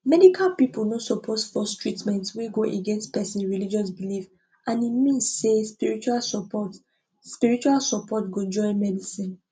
medical people no suppose force treatment wey go against person religious belief and e mean say spiritual support spiritual support go join medicine